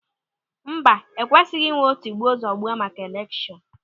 Mba, ekwesịghị inwe tigbuo zọgbuo maka elekshọn.